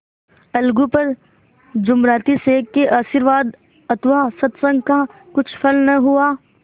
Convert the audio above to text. अलगू पर जुमराती शेख के आशीर्वाद अथवा सत्संग का कुछ फल न हुआ